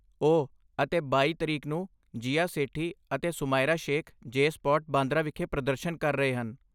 ਓ, ਅਤੇ ਬਾਈ ਤਰੀਕ ਨੂੰ, ਜੀਆ ਸੇਠੀ ਅਤੇ ਸੁਮਾਇਰਾ ਸ਼ੇਖ ਜੇ ਸਪਾਟ, ਬਾਂਦਰਾ ਵਿਖੇ ਪ੍ਰਦਰਸ਼ਨ ਕਰ ਰਹੇ ਹਨ